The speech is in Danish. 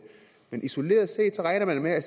men isoleret set regner man med at